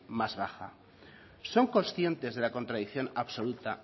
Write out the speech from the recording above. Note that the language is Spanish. más baja son conscientes de la contradicción absoluta